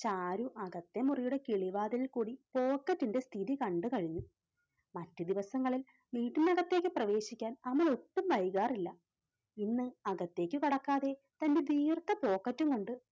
ചാരു അകത്തെ മുറിയുടെ കിളിവാതിലിൽ കൂടി pocket ന്റെ സ്ഥിതി കണ്ടുകഴിഞ്ഞു. മറ്റു ദിവസങ്ങളിൽ വീട്ടിനകത്തേക്ക് പ്രവേശിക്കാൻ അമൽ ഒട്ടും വൈകാറില്ല. ഇന്ന് അകത്തേക്ക് കടക്കാതെ തന്റെ ദീർഘ pocket ഉം കൊണ്ട്